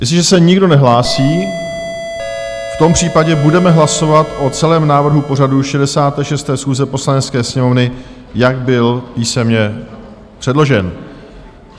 Jestliže se nikdo nehlásí, v tom případě budeme hlasovat o celém návrhu pořadu 66. schůze Poslanecké sněmovny, jak byl písemně předložen.